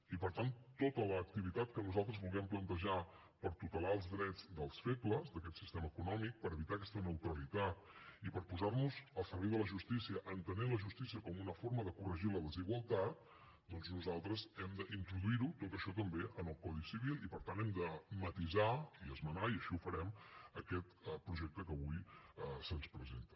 i per tant tota l’activitat que nosaltres vulguem plantejar per tutelar els drets dels febles d’aquest sistema econòmic per evitar aquesta neutralitat i per posarnos al servei de la justícia entenent la justícia com una forma de corregir la desigualtat doncs nosaltres hem d’introduirho tot això també en el codi civil i per tant hem de matisar i esmenar i així ho farem aquest projecte que avui se’ns presenta